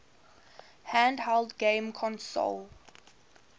handheld game console